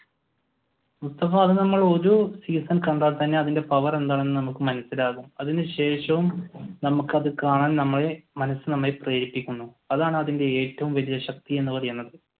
നമ്മൾ ഒരു സീസൺ കണ്ടാൽ തന്നെ അതിന്റെ പവർ എന്താണെന്നു നമുക്ക് മനസിലാകും അതിനുശേഷവും നമുക്ക് അത് കാണാൻ നമ്മളെ മനസ് നമ്മളെ പ്രേരിപ്പിക്കുന്നു. അതാണ് അതിന്റെ ഏറ്റവും വലിയ ശക്തി എന്നുള്ളത്